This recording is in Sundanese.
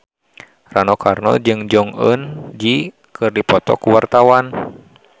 Rano Karno jeung Jong Eun Ji keur dipoto ku wartawan